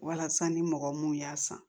Walasa ni mɔgɔ mun y'a san